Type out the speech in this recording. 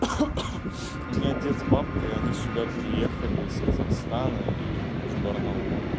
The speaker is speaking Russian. у меня дед с бабкой они сюда переехали из казахстана и с барнаула